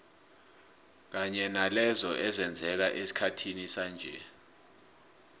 kanye nalezo ezenzeka esikhathini sanje